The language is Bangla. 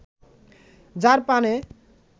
যাঁর পানে